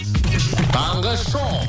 таңғы шоу